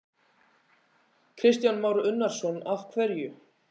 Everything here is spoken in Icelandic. Kristján Már Unnarsson: Af hverju?